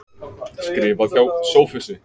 Skrifað hjá Sophusi.